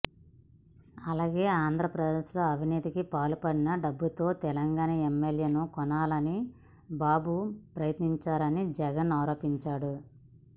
అలాగే ఆంధ్రప్రదేశ్ లో అవినీతికి పాల్పడిన డబ్బుతో తెలంగాణ ఎమ్మెల్యేను కొనాలని బాబు ప్రయత్నించారని జగన్ ఆరోపించారు